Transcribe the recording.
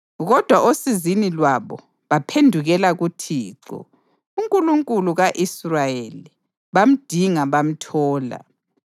Kodwa osizini lwabo baphendukela kuThixo, uNkulunkulu ka-Israyeli, bamdinga bamthola.